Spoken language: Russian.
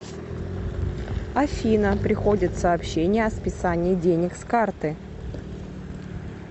афина приходят сообщения о списании денег с карты